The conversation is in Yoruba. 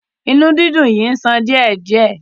Inú dídùn yìí ń ṣàn díẹ̀ díẹ̀.